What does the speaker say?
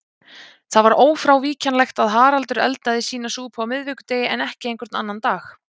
Það var ófrávíkjanlegt að Haraldur eldaði sína súpu á miðvikudegi en ekki einhvern annan dag.